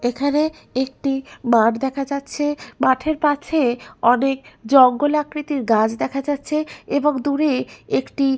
এখানে একটি মাঠ দেখা যাচ্ছে মাঠের কাছে অনেক জঙ্গল আকৃতির গাছ দেখা যাচ্ছে এবং দূরে একটি--